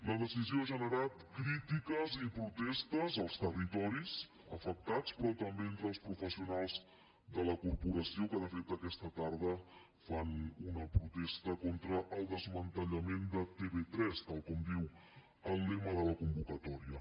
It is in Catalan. la decisió ha generat crítiques i protestes als territoris afectats però també entre els professionals de la corporació que de fet aquesta tarda fan una protesta contra el desmantellament de tv3 tal com diu el lema de la convocatòria